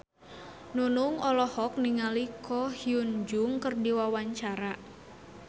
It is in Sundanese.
Nunung olohok ningali Ko Hyun Jung keur diwawancara